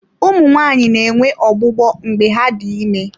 Ụmụ nwanyị na-enwe ọgbụgbọ mgbe ha dị ime.